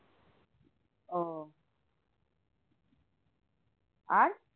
ওহ আর